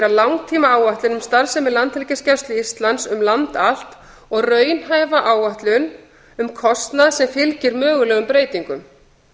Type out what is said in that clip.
um starfsemi landhelgisgæslu íslands um land allt og raunhæfa áætlun um kostnað sem fylgir mögulegum breytingum